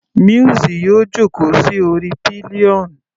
Muiz yóò jókòó sí orí pillion.